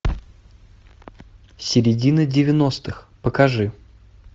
середина девяностых покажи